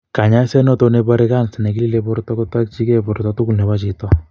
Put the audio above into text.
Konyoiset notok nebore kansa nekilile borto kotokyike borto tugul nebo chito